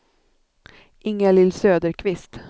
Ingalill Söderqvist